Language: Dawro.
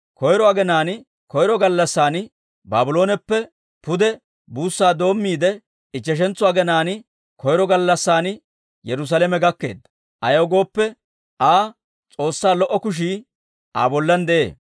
Koyro aginaan koyro gallassan Baablooneppe pude buussaa doomiide, ichcheshantso aginaan koyro gallassan Yerusaalame gakkeedda. Ayaw gooppe, Aa S'oossaa lo"o kushii Aa bollan de'ee.